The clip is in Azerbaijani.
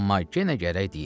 Amma yenə gərək deyim.